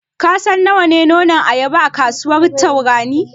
Ka san nawa ne nonon ayaba a kasuwar Tarauni?